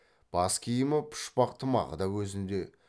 бас киімі пұшпақ тымағы да өзінде